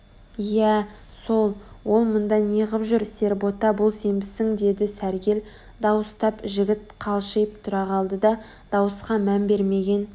иә сол ол мұнда неғып жүр сербота бұл сенбісің деді сәргел дауыстап жігіт қалшиып тұра қалды да дауысқа мән бермеген